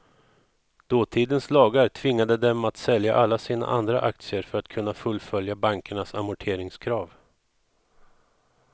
Dåtidens lagar tvingade dem att sälja alla sina andra aktier för att kunna fullfölja bankernas amorteringskrav.